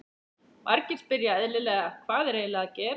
Margir spyrja eðlilega, Hvað er eiginlega að gerast?